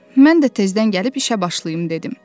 Mən də tezdən gəlib işə başlayım dedim.